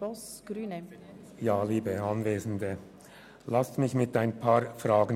Ich beginne mein Votum mit ein paar Fragen: